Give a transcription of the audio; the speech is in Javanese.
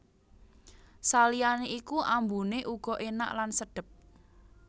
Saliyane iku ambune uga enak lan sedhep